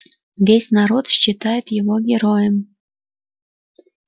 весь народ считает его героем